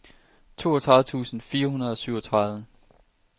toogtredive tusind fire hundrede og syvogtredive